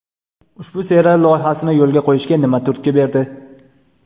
Ushbu serial loyihasini yo‘lga qo‘yishga nima turtki berdi?